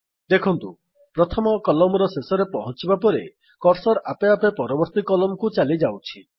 ଦେଖନ୍ତୁ ପ୍ରଥମ କଲମ୍ ର ଶେଷରେ ପହଁଞ୍ଚିବା ପରେ କର୍ସର୍ ଆପେ ଆପେ ପରବର୍ତ୍ତୀ କଲମକୁ ଚାଲିଯାଉଛି